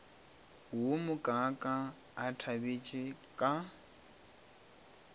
wo mokaaka a nthabetše ka